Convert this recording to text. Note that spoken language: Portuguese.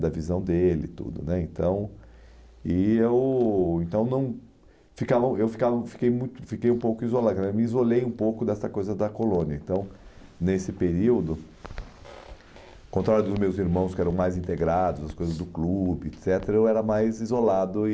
da visão dele e tudo né, então e eu então não ficava eu ficava, fiquei muito, fiquei um pouco isolado, quer dizer, me isolei um pouco dessa coisa da colônia, então nesse período, ao contrário dos meus irmãos que eram mais integrados, as coisas do clube, et cetera, eu era mais isolado e